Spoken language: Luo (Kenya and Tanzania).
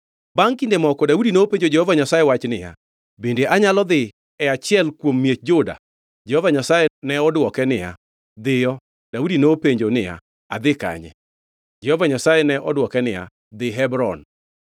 Bangʼ kinde moko Daudi nopenjo Jehova Nyasaye wach niya, “Bende anyalo dhi e achiel kuom miech Juda?” Jehova Nyasaye ne odwoke niya, “Dhiyo.” Daudi nopenjo niya, “Adhi kanye?” Jehova Nyasaye ne odwoke niya, “Dhi Hebron.”